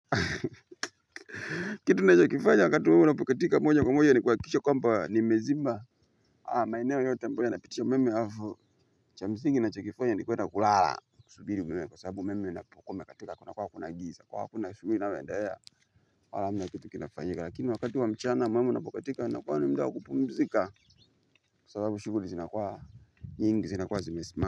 Kitu naeza kifanya wakati umeme unapokatika moja kwa moja ni kuhakisha kwamba nimezima maeneo yote ambayo inapitisha umeme halafu cha msingi na chokifanya ni kwenda kulala. Kusubiri umeme kwa sababu umeme inapokuwa imekatika kuna kuwa kuna giza kwa hiyo akuna shughuli inayoendelea hamna kitu kinafanyika lakini wakati wa mchana umeme inapokatika inakuwa ni muda wa kupumzika. Kwa sababu shughuli zinakuwa nyingi zinakuwa zimesimama.